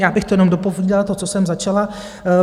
Já bych to jenom dopovídala, to, co jsem začala.